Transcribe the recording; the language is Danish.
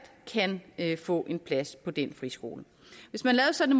kan få en plads på den friskole hvis man lavede sådan